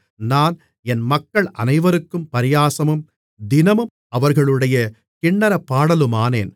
நான் என் மக்கள் அனைவருக்கும் பரியாசமும் தினமும் அவர்களுடைய கின்னரப் பாடலுமானேன்